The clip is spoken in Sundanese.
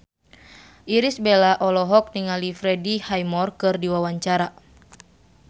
Irish Bella olohok ningali Freddie Highmore keur diwawancara